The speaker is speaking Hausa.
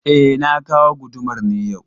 E, na kawo gudumar ne yau.